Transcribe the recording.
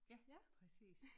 Ja præcis